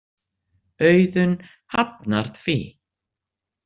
Auðun hafnar því.